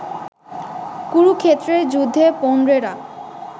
কুরুক্ষেত্রের যুদ্ধে পৌণ্ড্রেরা